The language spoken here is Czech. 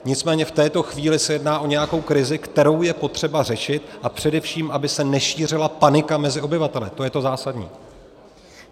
Nicméně v této chvíli se jedná o nějakou krizi, kterou je potřeba řešit, a především aby se nešířila panika mezi obyvateli, to je to zásadní.